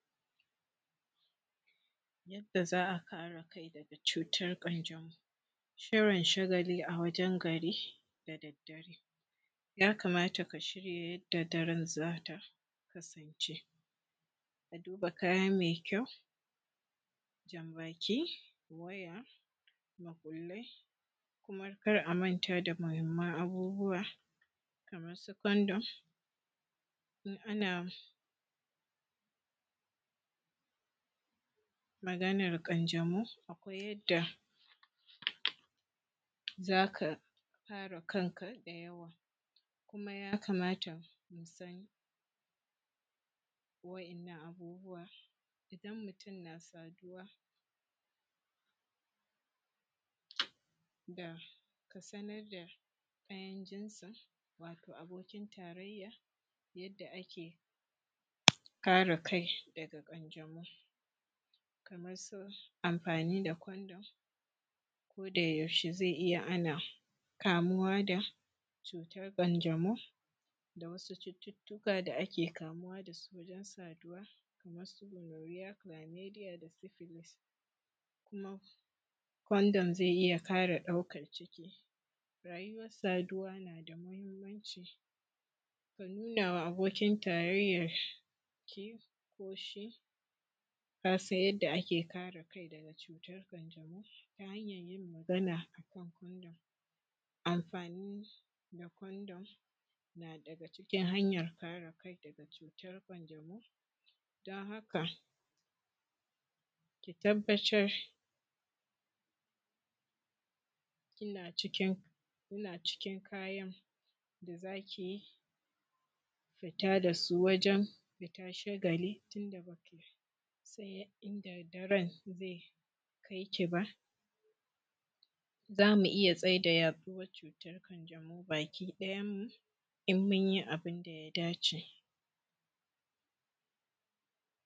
yanda za a kare kai daga cutar ƙanjamau shirin shagali a wajan gari da daddare ya kamata ka shirya yanda daren za ta kasance a duba kaya mai kyau jan baki waya makullai kuma kar a manta da mahimmanci abubuwa kaman su condom in ana maganan ƙanjamau akwai yadda za ka kare kanka da yawa kuma ya kamata musan wa'innan abubuwan idan mutum na saduwa da ka sanar da ɗayan jinsin wato abokin tarayya yadda ake kare kai daga ƙanjamau kaman su amfani da condom koda yaushe zai iya hana kamuwa da cutar ƙanjamau da wasu cututtuka da ake kamuwa da su wajen saduwa kaman su gonoria clamedia da sipilis kuma condom zai iya hana ɗaukan ciki rayuwan saduwa na da muhimmanci ka nuna ma abokin tarayyan ki ko shi ya san yadda ake kare kai daga cutar ƙanjamau ta hanyan yin magana na condom na daga cikin amfani da condom na daga cikin hanyar kare kai daga cutar ƙanjamau don haka ki tabbatar yana cikin kayan da zaki fita da su wajen fitar shagali tunda ba ki san in da daddaren zai kai ki ba za mu iya tsayar da yaɗuwan cutar ƙanjamau baki ɗayan mu in mun yi abunda ya da ce